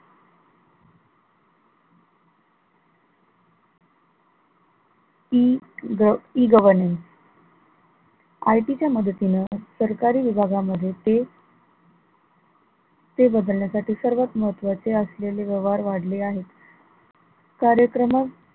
EE governance IT च्या मदतीनं सरकारी विभागामध्ये ते ते बदलण्यासाठी सर्वात महत्वाचे असलेले व्यवहार वाढले आहे, कार्यक्रम,